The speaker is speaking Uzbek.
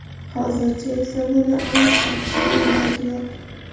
Hozircha esa buni aniq aytishning iloji yo‘q.